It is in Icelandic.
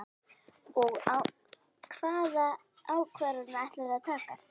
Og hvaða ákvarðanir ætlarðu að taka?